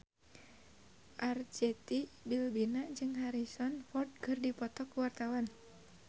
Arzetti Bilbina jeung Harrison Ford keur dipoto ku wartawan